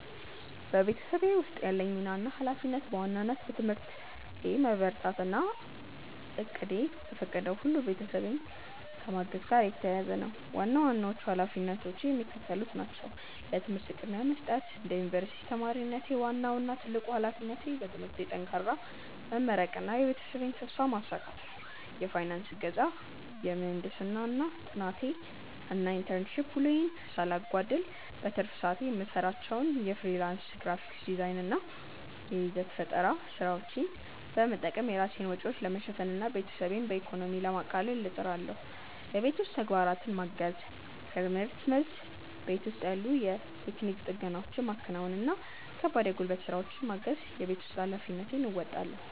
በቤተሰቤ ውስጥ ያለኝ ሚና እና ኃላፊነት በዋናነት በትምህርቴ መበርታት እና እቅሜ በፈቀደው ሁሉ ቤተሰቤን ከማገዝ ጋር የተያያዘ ነው። ዋና ዋናዎቹ ኃላፊነቶቼ የሚከተሉት ናቸው፦ ለትምህርት ቅድሚያ መስጠት፦ እንደ ዩኒቨርሲቲ ተማሪነቴ፣ ዋናው እና ትልቁ ኃላፊነቴ በትምህርቴ ጠንክሬ መመረቅና የቤተሰቤን ተስፋ ማሳካት ነው። የፋይናንስ እገዛ፦ የምህንድስና ጥናቴን እና የኢንተርንሺፕ ውሎዬን ሳላጓድል፣ በትርፍ ሰዓቴ የምሰራቸውን የፍሪላንስ ግራፊክ ዲዛይን እና የይዘት ፈጠራ ስራዎች በመጠቀም የራሴን ወጪዎች ለመሸፈን እና ቤተሰቤን በኢኮኖሚ ለማቃለል እጥራለሁ። የቤት ውስጥ ተግባራትን ማገዝ፦ ከርምህርት መልስ፣ ቤት ውስጥ ያሉ የቴክኒክ ጥገናዎችን ማከናወን እና ከባድ የጉልበት ስራዎችን በማገዝ የቤት ውስጥ ኃላፊነቴን እወጣለሁ።